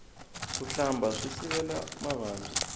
ku hlamba swi sivela mavabyi